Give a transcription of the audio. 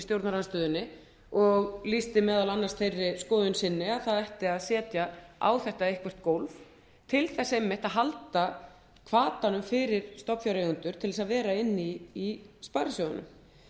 stjórnarandstöðunni og lýsti meðal annars þeirri skoðun sinni að setja ætti á þetta eitthvert gólf til þess einmitt að halda hvatanum fyrir stofnfjáreigendur til að vera inni í sparisjóðunum